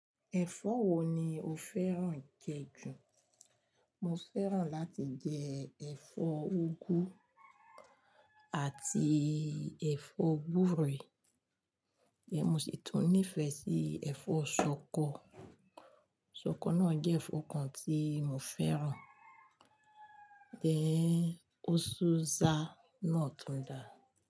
Ẹ̀fọ́ wo ni o fẹ́ràn jẹ jù? Mo fẹ́ràn láti jẹ ẹ̀fọ́ úgú àti ẹ̀fọ́ gúre, ehn mo sì tún nífẹ̀ẹ́ sí ẹ̀fọ́ ṣọkọ. Ṣọkọ náà jẹ́ ẹ̀fọ́ kan tí mo fẹ́ràn, then ó ṣú za náà tún da.